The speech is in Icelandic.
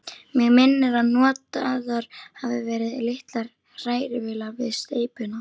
Mig minnir, að notaðar hafi verið litlar hrærivélar við steypuna.